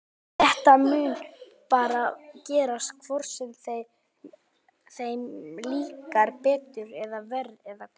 Þetta mun bara gerast hvort sem þeir, þeim líkar betur eða verr eða hvað?